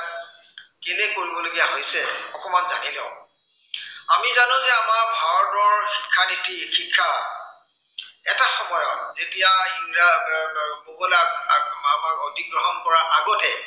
কেলেই কৰিব লগা হৈছে অকনমান জানি লও। আমি জানো যে আমাৰ ভাৰতৰ শিক্ষানীতি শিক্ষা, এটা সময়ত যেতিয়া ইৰাজ আহ মোগলে আমাৰ অধিগ্ৰহণ কৰাৰ আগতে